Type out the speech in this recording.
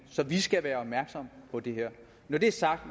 så vi skal være opmærksomme på det her når det er sagt